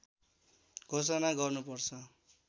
घोषणा गर्नुपर्छ